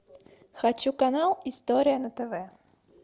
хочу канал история на тв